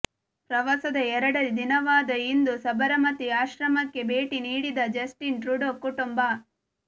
ಪ್ರವಾಸದ ಎರಡನೇ ದಿನವಾದ ಇಂದು ಸಬರಮತಿ ಆಶ್ರಮಕ್ಕೆ ಭೇಟಿ ನೀಡಿದ ಜಸ್ಟಿನ್ ಟ್ರುಡೋ ಕುಟುಂಬ